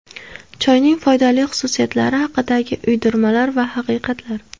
Choyning foydali xususiyatlari haqidagi uydirmalar va haqiqatlar.